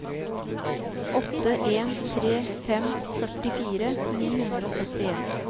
åtte en tre fem førtifire ni hundre og syttien